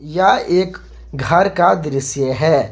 यह एक घर का दृश्य है।